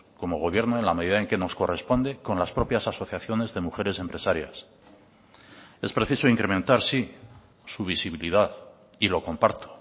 como gobierno en la medida en que nos corresponde con las propias asociaciones de mujeres empresarias es preciso incrementar sí su visibilidad y lo comparto